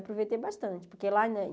Aproveitei bastante, porque lá não é...